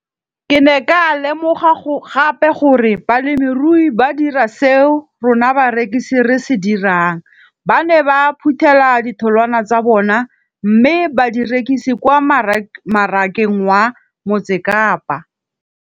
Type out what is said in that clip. Ke ne ka lemoga gape gore balemirui ba dira seo rona barekisi re se dirang, ba ne ba phuthela ditholwana tsa bona mme ba di rekisa kwa marakeng wa Motsekapa.